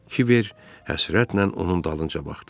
Kibər həsrətlə onun dalınca baxdı.